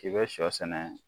K'i bɛ shɔ sɛnɛ